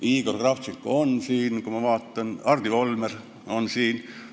Kui ma vaatan, siis Igor Kravtšenko on siin, Hardi Volmer on siin.